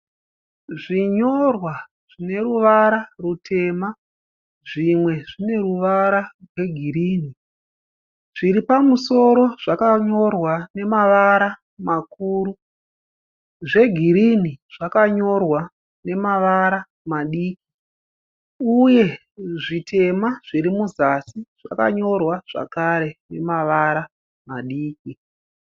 Zvinyorwa zvine ruvara rutema zvimwe zvine ruvara rwegirinhi. Zviripamusoro zvakanyorwa nemavara makuru. Zvegirini zvakanyorwa nemavara madiki uye zvitema zviri muzasi zvakanyorwa zvekare nemavara madiki.